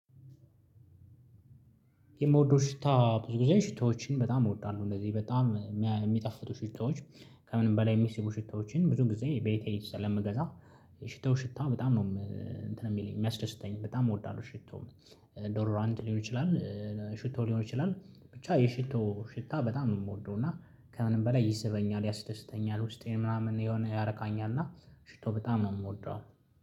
የምወደው ሽታ ብዙ ጊዜ ሽታዎችን በጣም እወዳለሁ እንደዚህ በጣም የሚጠፍቱ ሽታዎች ከምንም በላይ የሚስቡ ሽታዎችን ብዙ ጊዜ በይተህ ስለምገዛ ሽታው ሽታው በጣም ነው እንትን የሚለኝ የሚያስደስተኝ በጣም እወዳለሁ። ሽቶም ዶር ራንድ ሊሆን ይችላል። ሽቶ ሊሆን ይችላል። ብቻ የሽቶ ሽታ በጣም የምወደው እና ከምንም በላይ ይስበኛል ያስደስተኛል ውስጤን ምናምን የሆነ ያረካኛል እና ሽቶ በጣም ነው የምወደው።